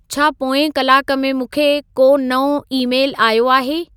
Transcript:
छा पोएं कलाक में मूंखे को नओं ई-मेलु आयो आहे